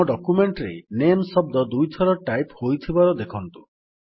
ଆମ ଡକ୍ୟୁମେଣ୍ଟ୍ ରେ ନାମେ ଶବ୍ଦ ଦୁଇଥର ଟାଇପ୍ ହୋଇଥିବାର ଦେଖନ୍ତୁ